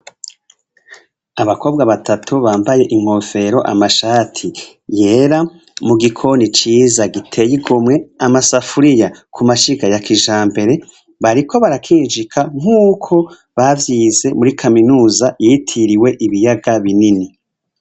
Abakobwa batatu bampaye inkofero amashati yera, mu gikoni ciza giteye igomwe, amasafuriya kumashiga ya kijambere, bariko brakinjika nkuko bavyize muri kaminuza yitiriwe ibiyaga Binini.